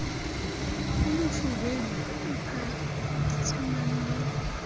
o mofubedu o phatsimang le